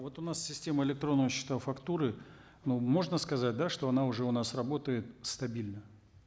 вот у нас система электронные счета фактуры ну можно сказать да что она уже у нас работает стабильно